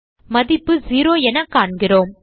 மதிப்பு செரோ என காண்கிறோம்